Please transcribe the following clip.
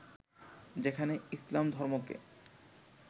যেখানে ইসলাম ধর্মকে